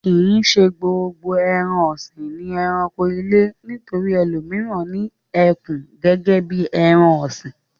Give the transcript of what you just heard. Kì í ṣe gbogbo ẹran-ọ̀sìn ni ẹranko ilé. Nítorí ẹlòmíràn ni ẹkùn gẹ́gẹ́ bí ẹran-ọ̀sìn.